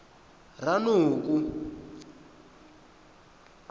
ranoko